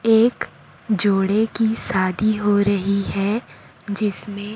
एक जोड़े की शादी हो रहीं हैं जिसमें--